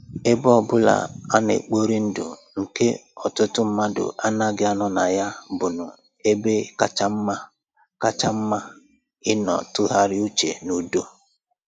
Ebe ọbụla a na-ekpori ndụ nke ọtụtụ mmadụ anaghị anọ na ya bụnnọ ebe kacha mma kacha mma ịnọ tụgharịa uche n'udo